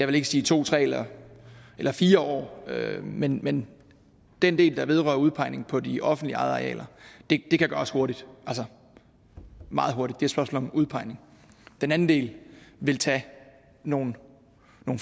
vil sige to tre eller eller fire år men men den del der vedrører udpegning på de offentligt ejede arealer kan gøres hurtigt altså meget hurtigt det spørgsmål om udpegning den anden del vil tage nogle